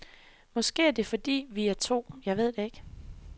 Måske er det fordi, vi er to, jeg ved ikke.